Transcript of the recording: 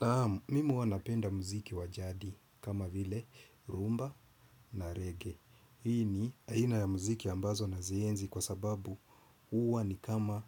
Naamu, mimi huwa wanapenda mziki wa jadi kama vile rhumba na reggae. Hii ni aina ya mziki ambazo nazi enzi kwa sababu huwa ni kama